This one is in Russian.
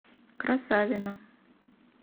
красавина